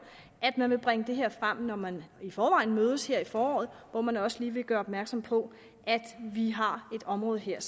at man vil bringe det her frem når man i forvejen mødes her i foråret og at man også lige vil gøre opmærksom på at vi har et område her